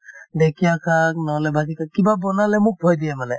ঢেঁকিয়া শাক নহলে ভাজিছে কিবা বনালে মোক থৈ দিয়ে মানে